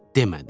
demədi.